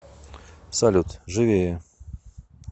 салют живее